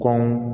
Kɔn